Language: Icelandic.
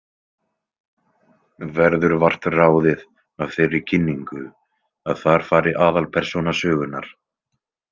Verður vart ráðið af þeirri kynningu að þar fari aðalpersóna sögunnar.